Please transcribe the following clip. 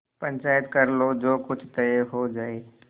पंचायत कर लो जो कुछ तय हो जाय